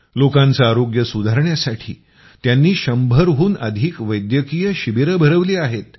लोकांचं आरोग्य सुधारण्यासाठी त्यांनी 100 हून अधिक वैद्यकीय शिबिरे भरवली आहेत